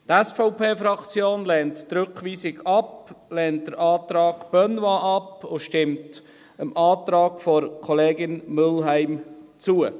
Die SVP-Fraktion lehnt die Rückweisung ab, lehnt den Antrag Benoit ab und stimmt dem Antrag der Kollegin Mühlheim zu.